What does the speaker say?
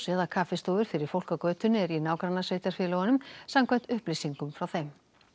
eða kaffistofur fyrir fólk á götunni eru í nágrannasveitarfélögunum samkvæmt upplýsingum frá þeim